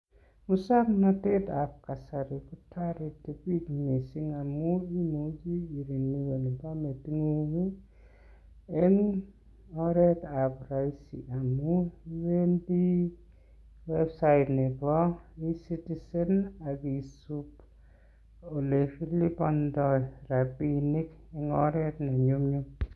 Muswoknatetab kasari ko toreti biik mising amun imuchi irenyuen permit ing'ung ii en oretab roisi. Amun iwendi website nebo E-Citizen ak isub ole kilibondo rabinik en oret ne nyumnyum.